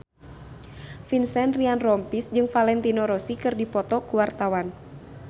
Vincent Ryan Rompies jeung Valentino Rossi keur dipoto ku wartawan